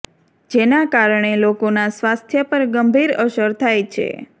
જેના કારણે લોકોના સ્વાસ્થય પર ગંભીર અસર થાય છે